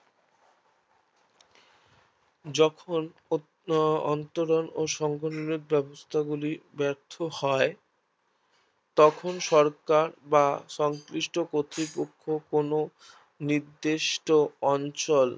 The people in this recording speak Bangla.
যখন অন্তরন ও সংগনিরণের ব্যাবস্থা গুলি ব্যার্থ হয় তখন সরকার বা সংশ্লিষ্ট কর্তৃপক্ষ কোনো নির্দিষ্ট অঞ্চল